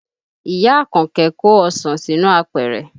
Ìyá Àkànkẹ́ kó ọsàn sínú apẹ̀rẹ̀